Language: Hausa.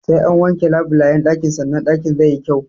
Sai an wanke labulayyan ɗakin sanan ɗakin zai yi kyau.